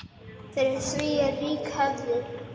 Fyrir því er rík hefð.